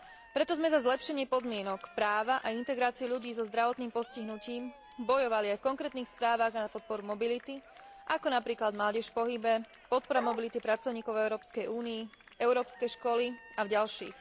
Preto sme za zlepšenie podmienok, práva a integrácie ľudí so zdravotným postihnutím bojovali aj v konkrétnych správach na podporu mobility, ako napríklad Mládež v pohybe Podpora mobility pracovníkov v Európskej únii Európske školy a v ďalších.